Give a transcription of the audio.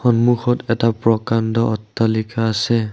সন্মুখত এটা প্ৰকাণ্ড অট্টালিকা আছে।